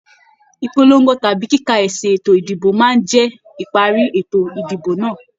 Ìpolongo tàbí kíkà esi ètò ìdìbò máa ń jẹ níparí ètò ìdìbò náà.